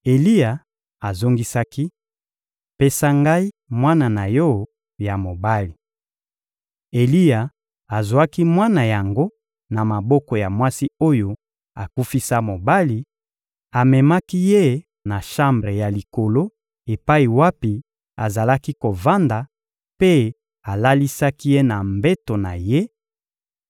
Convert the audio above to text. Eliya azongisaki: — Pesa ngai mwana na yo ya mobali. Eliya azwaki mwana yango na maboko ya mwasi oyo akufisa mobali, amemaki ye na shambre ya likolo epai wapi azalaka kovanda mpe alalisaki ye na mbeto na ye;